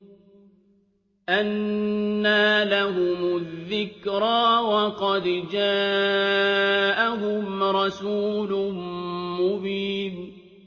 أَنَّىٰ لَهُمُ الذِّكْرَىٰ وَقَدْ جَاءَهُمْ رَسُولٌ مُّبِينٌ